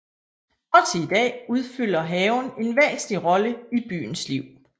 Også i dag udfylder haven en væsentlig rolle i byens liv